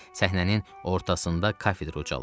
Səhnənin ortasında kafedra ucalırdı.